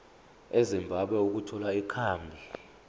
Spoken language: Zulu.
ezimbabwe ukuthola ikhambi